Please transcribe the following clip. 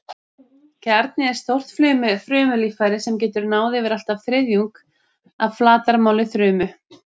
Kjarni er stórt frumulíffæri sem getur náð yfir allt að þriðjung af flatarmáli frumu.